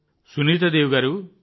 సునీతా దేవి గారూ